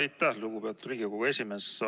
Aitäh, lugupeetud Riigikogu esimees!